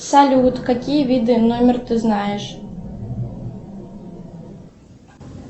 салют какие виды номер ты знаешь